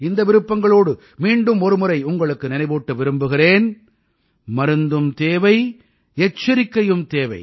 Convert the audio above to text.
இந்த விருப்பங்களோடு மீண்டும் ஒரு முறை உங்களுக்கு நினைவூட்ட விரும்புகிறேன் மருந்தும் தேவை எச்சரிக்கையும் தேவை